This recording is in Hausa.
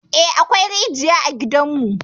Eh, akwai rijiya a gidanmu.